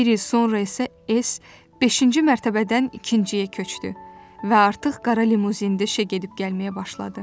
Bir il sonra isə S beşinci mərtəbədən ikinciyə köçdü və artıq qara limuzində işə gedib gəlməyə başladı.